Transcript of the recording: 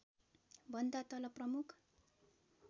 भन्दा तल प्रमुख